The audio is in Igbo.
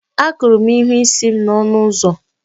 Akụrụ m ihu isi m na ọnụ ụzọ